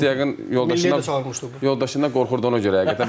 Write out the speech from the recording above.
Ricard yəqin yoldaşından qorxurdu ona görə həqiqətən.